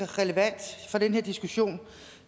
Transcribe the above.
relevant for den her diskussion